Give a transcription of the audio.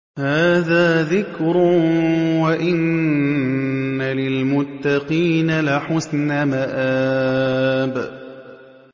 هَٰذَا ذِكْرٌ ۚ وَإِنَّ لِلْمُتَّقِينَ لَحُسْنَ مَآبٍ